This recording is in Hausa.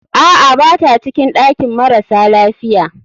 Aa, bata cikin ɗakin marasa lafiya.